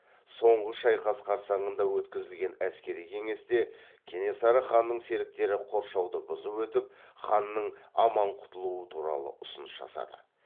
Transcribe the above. соңғы шайқас қарсаңында өткізілген әскери кеңесте кенесары ханның серіктері қоршауды бұзып өтіп ханның аман құтылуы туралы ұсыныс жасады